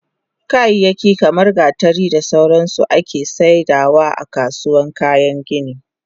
Kayayyaki kaman gatari da sauransu ake saidawa akasuwan kayan gini